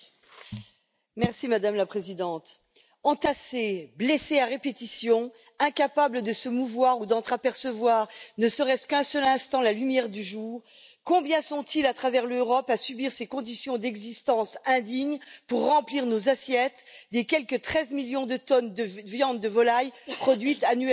Madame la Présidente, entassés, blessés à répétition, incapables de se mouvoir ou d'entrapercevoir ne serait ce qu'un seul instant la lumière du jour, combien sont ils à travers l'Europe à subir ces conditions d'existence indignes pour remplir nos assiettes des quelque 13 millions de tonnes de viande de volaille produite annuellement en Europe?